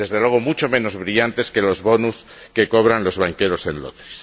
Desde luego, mucho menos brillantes que los bonus que cobran los banqueros en Londres.